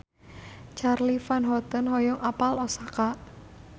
Charly Van Houten hoyong apal Osaka